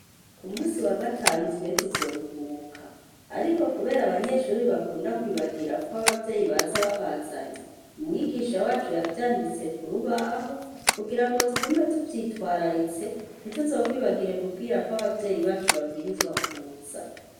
Ku munsi wa gatanu twe tuzoruhuka ariko kubera ko abanyeshuri bakunda kwibagira ko abavyeyi baza babazanye uwimigisha wacu yavyanditse ku rubaho kugira tugume tuvyitwararitse ntituzokwibagire kubwira ko abavyeyi bacu babwirizwa kuza.